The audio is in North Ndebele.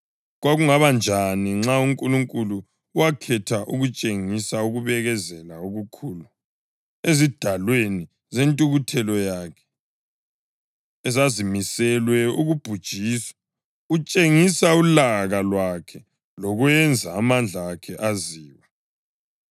Kwakungaba njani-ke nxa uNkulunkulu wakhetha ukutshengisa ukubekezela okukhulu ezidalweni zentukuthelo yakhe ezazimiselwe ukubhujiswa etshengisa ulaka lwakhe lokwenza amandla akhe aziwe.